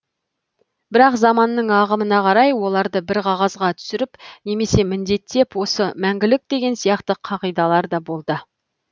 бірақ заманның ағымына қарай оларды бір қағазға түсіріп немесе міндеттеп осы мәңгілік деген сияқты қағидалар да болды